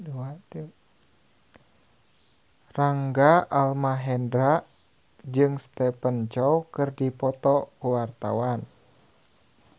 Rangga Almahendra jeung Stephen Chow keur dipoto ku wartawan